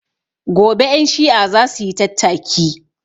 Gobe ƴan shi'a zasuyi tattaki